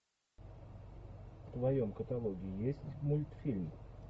в твоем каталоге есть мультфильм